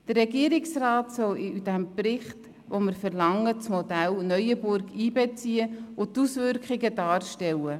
Der Regierungsrat soll das Modell Neuenburg für den von uns verlangten Bericht einbeziehen und die Auswirkungen darstellen.